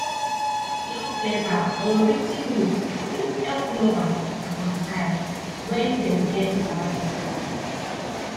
love letter or writ ten note fit help lovers reconcile when dem get wahala